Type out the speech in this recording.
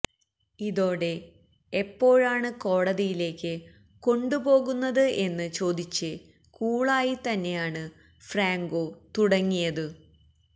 ഇതോടെ എപ്പോഴാണ് കോടതിയിലേക്ക് കൊണ്ടുപോകുന്നത് എന്ന് ചോദിച്ച് കൂളായി തന്നെയാണ് ഫ്രാങ്കോ തുടങ്ങിയത്